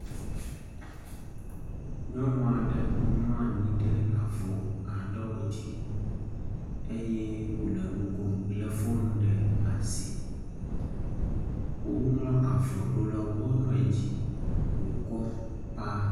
Nyɔnu aɖe mlɔ anyi ɖe avɔ aɖewo dzi eye wole nu kom lé foŋ ɖe asi. Woŋlɔ avɔ ɖo ɖe wonuiwo dzi wokɔ paa.